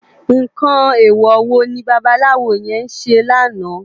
Nkán éwò wó ni bàbàláwó yèn sé làná?